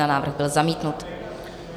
Návrh byl zamítnut.